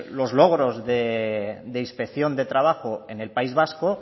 los logros de inspección de trabajo en el país vasco